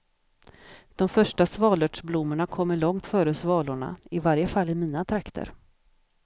De första svalörtsblommorna kommer långt före svalorna, i varje fall i mina trakter.